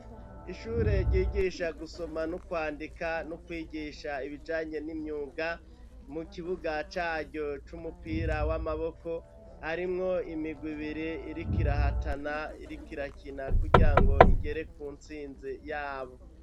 Ishure ryigisha gusoma no kwandika no kwigisha ibijanye n'imyuga, mu kibuga caryo c'umupira w'amaboko harimwo imigwi ibiri iriko irahatana, iriko irakina kugirango igere ku ntsinzi yabo.